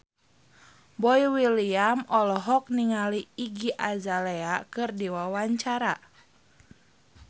Boy William olohok ningali Iggy Azalea keur diwawancara